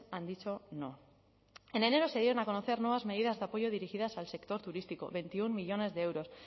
han dicho no en enero se dieron a conocer nuevas medidas de apoyo dirigidas al sector turístico veintiuno millónes de euros